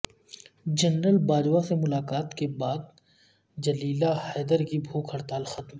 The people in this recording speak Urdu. جنرل باجوہ سے ملاقات کے بعد جلیلہ حیدر کی بھوک ہڑتال ختم